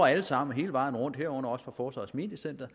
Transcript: alle sammen hele vejen rundt herunder også fra forsvarets mediecenter